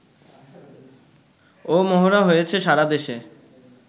ও মহড়া হয়েছে সারা দেশে